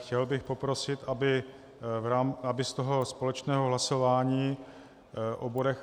Chtěl bych poprosit, aby z toho společného hlasování o bodech